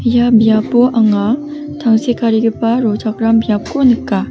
ia biapo anga tangsekarigipa rochakram biapko nika.